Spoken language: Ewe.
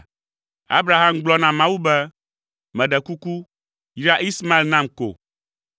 Abraham gblɔ na Mawu be, “Meɖe kuku, yra Ismael nam ko!”